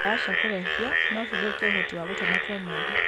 Ndawa no cithũkie ũhoti wa gũtua matua mega.